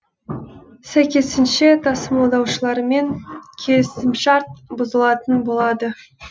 сәйкесінше тасымалдаушылармен келісімшарт бұзылатын болады